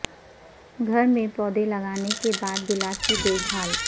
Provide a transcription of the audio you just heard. گھر میں پودے لگانے کے بعد گلاب کی دیکھ بھال